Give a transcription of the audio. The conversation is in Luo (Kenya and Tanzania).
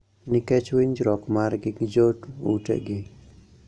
Nikech winjruok margi gi joutegi